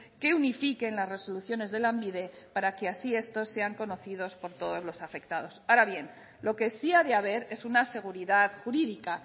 que unifiquen las resoluciones de lanbide para que así estos sean conocidos por todos los afectados ahora bien lo que sí ha de haber es una seguridad jurídica